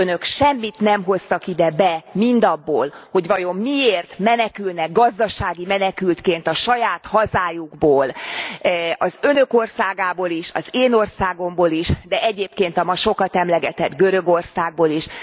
Önök semmit nem hoztak ide be mindabból, hogy vajon miért menekülnek gazdasági menekültként a saját hazájukból, az Önök országából is, az én országomból is, de egyébként a ma sokat emlegetett Görögországból is!